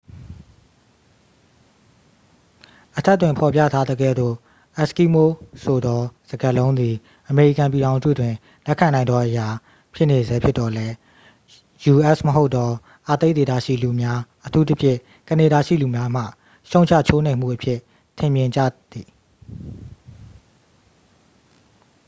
"အထက်တွင်ဖော်ပြထားသကဲ့သို့၊ "အက်စကီးမိုး" ဆိုသောစကားလုံးသည် အမေရိကန်ပြည်ထောင်စုတွင် လက်ခံနိုင်သောအရာ ဖြစ်နေဆဲဖြစ်သော်လည်း၊ u.s. မဟုတ်သော အာတိတ်ဒေသရှိလူများ၊ အထူးသဖြင့် ကနေဒါရှိလူများမှ ရှုံ့ချချိုးနှိမ်မှုအဖြစ် ထင်မြင်ကြသည်။